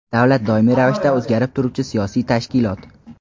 Davlat doimiy ravishda o‘zgarib turuvchi siyosiy tashkilot.